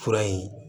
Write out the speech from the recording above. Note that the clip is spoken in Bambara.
Fura in